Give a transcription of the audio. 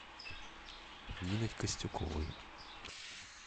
нины костюковой